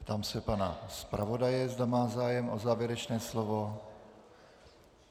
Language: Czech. Ptám se pana zpravodaje, zda má zájem o závěrečné slovo.